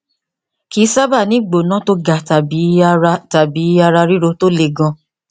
kì í sábà ní ìgbóná tó ga tàbí ara tàbí ara ríro tó le gan